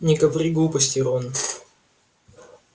не говори глупостей рон